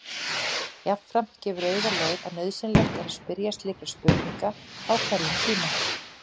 Jafnframt gefur auga leið að nauðsynlegt er að spyrja slíkra spurninga á hverjum tíma.